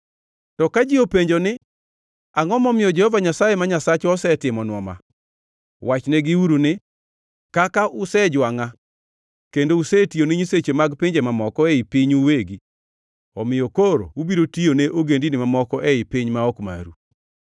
To ka ji openjo ni, ‘Angʼo momiyo Jehova Nyasaye ma Nyasachwa osetimonwa ma?’ Wachnegiuru ni, ‘Kaka usejwangʼa kendo usetiyone nyiseche mag pinje mamoko ei pinyu uwegi, omiyo koro ubiro tiyone ogendini mamoko ei piny ma ok maru.’